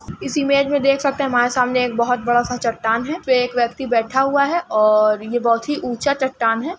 इस इमेज में देख सकते हैं हमारे सामने एक बहोत बड़ा सा चट्टान है। पे एक व्यक्ति बैठा हुआ है और ये बहोत ही ऊंचा चट्टान है।